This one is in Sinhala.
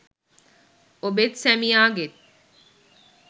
ඔබෙත් සැමියාගෙත්